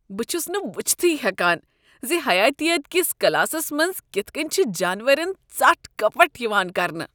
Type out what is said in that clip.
بہٕ چھس نہٕ وُچھتھٕے ہیکان ز حیاتیات کس کلاسس منٛز کتھ کٔنۍ چھ جانورن ژٹھ کپٹھ یوان کرنہٕ۔